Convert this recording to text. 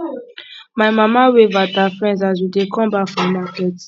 my mama wave at her friend as we dey come back from market